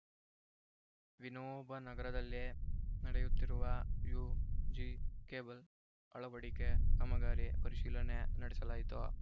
ವಿನೋಬನಗರದಲ್ಲೇ ನಡೆಯುತ್ತಿರುವ UG cable ಅಳವಡಿಕೆ ಕಾಮಗಾರಿ ಪರಿಶೀಲನೆ ನಡೆಸಲಾಯಿತು